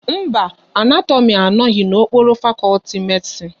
Mba, Anatomi anoghi n'okpuru fakọlti Medisin